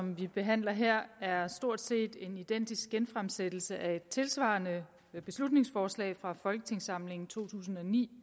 vi behandler her er stort set en identisk genfremsættelse af et tilsvarende beslutningsforslag fra folketingssamlingen to tusind og ni